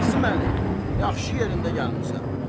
Qasım Əli, yaxşı yerində gəlmisən.